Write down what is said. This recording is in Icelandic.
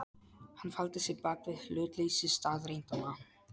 Hann faldi sig bak við hlutleysi staðreyndanna.